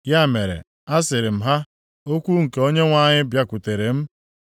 Ya mere a sịrị m ha, “Okwu nke Onyenwe anyị bịakwutere m,